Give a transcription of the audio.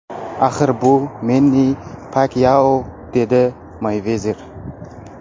Axir bu Menni Pakyao”, dedi Meyvezer.